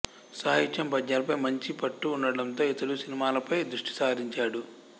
సాహిత్యం పద్యాలపై మంచి పట్టు ఉండడంతో ఇతడు సినిమాలపై దృష్టి సారించాడు